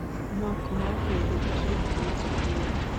макмафия эпизод тридцать девять